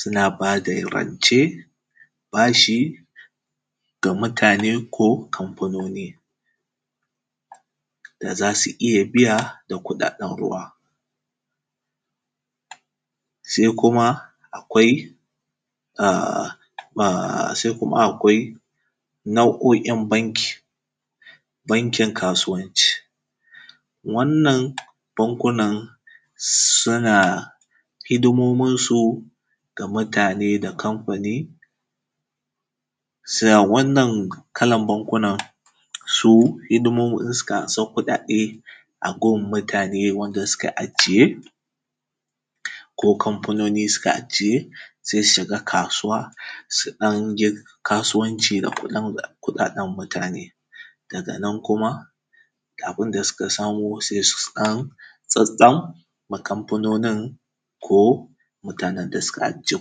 suna ba da rance. Bashi ga mutane ko kamfanoni da za su iya biya da kuɗaɗen ruwa. Se kuma, akwai a; ma;, se kuma akwai nau’o’in banki. Bankin kasuwanci, wannan bankunan suna hidimominsu ga mutane da kamfani. Sa; wannan kalan bankunan, su hidimominsu kan anso kuɗaɗe a gun mutane wanda suka ajiye ko kamfanoni suka ajiye. Se si shiga kasuwa su ɗan je kasuwanci na kuɗin da; kuɗaɗen mutane. Daga nan kuma, abin da suka samo, se su ɗan tsatstsam ma kamfanonin ko mutanen da suka ajiye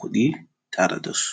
kuɗi tare da su.